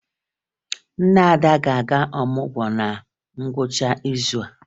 Nne Ada ga-aga ọmụgwọ na ngwụcha izu a